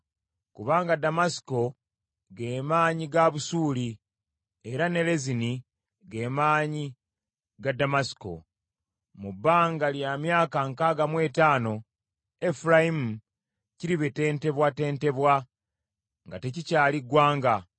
Kubanga Damasiko ge maanyi ga Busuuli era ne Lezini ge maanyi ga Damasiko. Mu bbanga lya myaka nkaaga mu etaano Efulayimu kiribetentebwatentebwa nga tekikyali ggwanga.